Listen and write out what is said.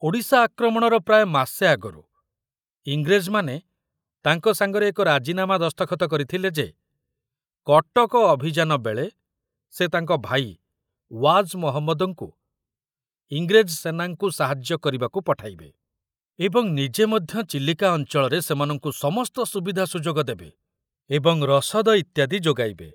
ଓଡ଼ିଶା ଆକ୍ରମଣର ପ୍ରାୟ ମାସେ ଆଗରୁ ଇଂରେଜମାନେ ତାଙ୍କ ସାଙ୍ଗରେ ଏକ ରାଜିନାମା ଦସ୍ତଖତ କରିଥିଲେ ଯେ କଟକ ଅଭିଯାନ ବେଳେ ସେ ତାଙ୍କ ଭାଇ ୱାଜ ମହମ୍ମଦଙ୍କୁ ଇଂରେଜ ସେନାଙ୍କୁ ସାହାଯ୍ୟ କରିବାକୁ ପଠାଇବେ ଏବଂ ନିଜେ ମଧ୍ୟ ଚିଲିକା ଅଞ୍ଚଳରେ ସେମାନଙ୍କୁ ସମସ୍ତ ସୁବିଧା ସୁଯୋଗ ଦେବେ ଏବଂ ରସଦ ଇତ୍ୟାଦି ଯୋଗାଇବେ।